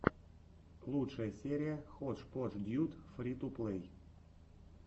лучшая серия ходжподждьюд фри ту плей